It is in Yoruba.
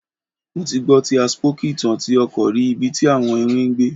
Mo ti gbọ ti a spooky itan ti a ọkọ rì ibi ti awọn iwin gbé